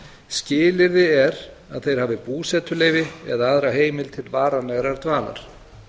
skilyrði er að þeir hafi búsetuleyfi eða aðra heimild til varanlegrar dvalar